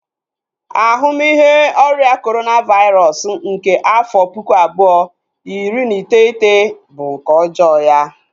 Ahumihe ọrịa Corona vairosụ nke afọ puku abuo, iri na iteghete bu nke ọjọọ ya